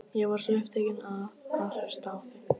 Ég var svo upptekinn af að hlusta á þig.